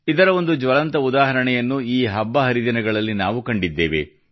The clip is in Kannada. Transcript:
ಇದರ ಒಂದು ಜ್ವಲಂತ ಉದಾಹರಣೆಯನ್ನು ಈ ಹಬ್ಬ ಹರಿದಿನಗಳಲ್ಲಿ ನಾವು ಕಂಡಿದ್ದೇವೆ